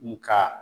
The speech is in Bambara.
Nga